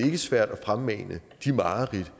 ikke svært at fremmane de mareridt